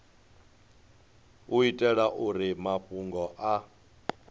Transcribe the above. u itela uri mafhungo a